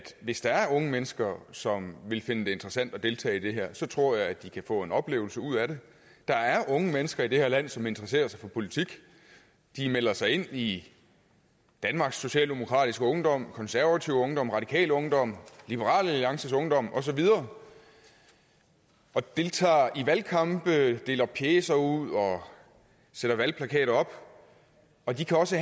hvis der er unge mennesker som vil finde det interessant at deltage i det her så tror jeg at de kan få en oplevelse ud af det der er unge mennesker i det her land som interesserer sig for politik de melder sig ind i danmarks socialdemokratiske ungdom konservativ ungdom radikal ungdom liberal alliances ungdom og så videre og deltager i valgkampe deler pjecer ud og sætter valgplakater op og de kan også